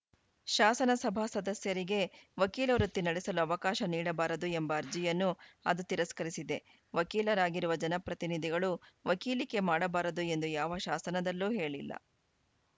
ಶಾಸನಸಭಾ ಸದಸ್ಯರಿಗೆ ವಕೀಲ ವೃತ್ತಿ ನಡೆಸಲು ಅವಕಾಶ ನೀಡಬಾರದು ಎಂಬ ಅರ್ಜಿಯನ್ನು ಅದು ತಿರಸ್ಕರಿಸಿದೆ ವಕೀಲರಾಗಿರುವ ಜನಪ್ರತಿನಿಧಿಗಳು ವಕೀಲಿಕೆ ಮಾಡಬಾರದು ಎಂದು ಯಾವ ಶಾಸನದಲ್ಲೂ ಹೇಳಿಲ್ಲ